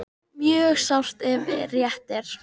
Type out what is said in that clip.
Mjög sárt ef rétt er